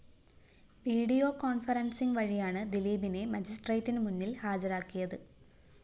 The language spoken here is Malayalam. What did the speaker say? വീഡിയോ കോണ്‍‌ഫറന്‍സിങ് വഴിയാണ് ദിലീപിനെ മജിസ്ട്രേറ്റിന് മുന്നില്‍ ഹാജരാക്കിയത്